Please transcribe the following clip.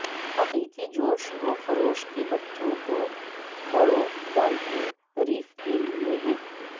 حقیقی جوش و خروش کے بچوں اور بڑوں ڈالفن ریف کے لئے ہے